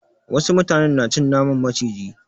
Wasu mutanen na cin naman maciji.